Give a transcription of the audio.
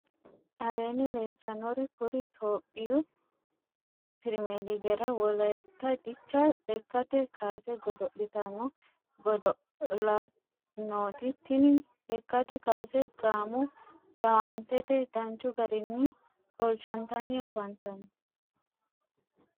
aleenni leelitannori kuri itophiyu pirimeeligera wolayitta dicha lekkate kaase godo'litanno godo'laanoti. tini lekkate kaase gaamo jawaantete danchu garinni qolchantanni afantanno.